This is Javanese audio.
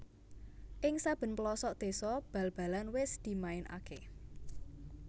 Ing saben pelosok désa bal balan wis dimainaké